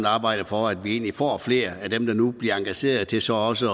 arbejde for at vi får flere af dem der nu bliver engageret til så også